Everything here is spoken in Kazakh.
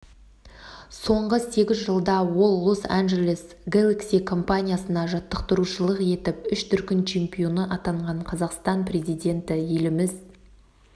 соңғы сегіз жылда ол лос-анджелес гэлакси командасына жаттықтырушылық етіп үш дүркін чемпионы атанған қазақстан президенті еліміз